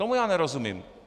Tomu já nerozumím.